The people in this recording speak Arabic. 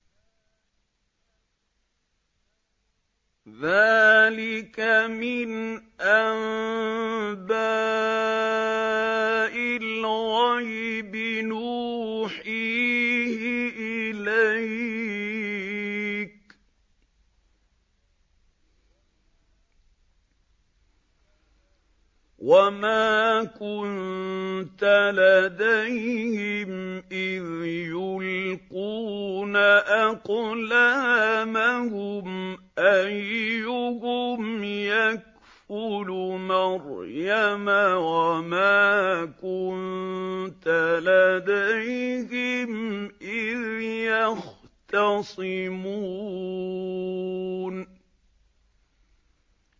ذَٰلِكَ مِنْ أَنبَاءِ الْغَيْبِ نُوحِيهِ إِلَيْكَ ۚ وَمَا كُنتَ لَدَيْهِمْ إِذْ يُلْقُونَ أَقْلَامَهُمْ أَيُّهُمْ يَكْفُلُ مَرْيَمَ وَمَا كُنتَ لَدَيْهِمْ إِذْ يَخْتَصِمُونَ